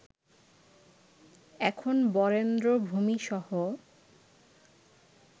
এখন বরেন্দ্র ভূমিসহ